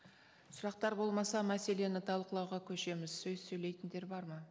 сұрақтар болмаса мәселені талқылауға көшеміз сөз сөйлейтіндер бар ма